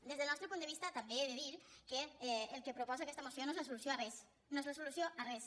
des del nostre punt de vista també he de dir que el que proposa aquesta moció no és la solució a res no és la solució a res